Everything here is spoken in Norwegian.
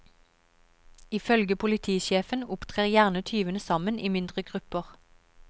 Ifølge politisjefen opptrer gjerne tyvene sammen i mindre grupper.